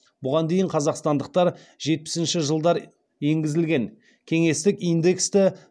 бұған дейін қазақстандықтар жетпісінші жылдар енгізілген кеңестік индексті